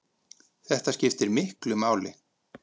Þetta skiptir miklu máli.